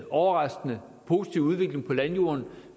overraskende positiv udvikling på landjorden